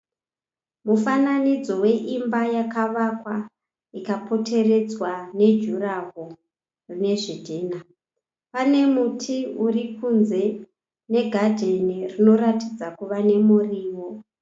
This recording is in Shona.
Mufananidzo weimba yakavakwa ikapoteredzwa nejuraho rwezvidhinha. Pane muti uri kunze negadheni inoratidza kuva nemuriwo.